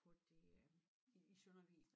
På det øh i i Søndervig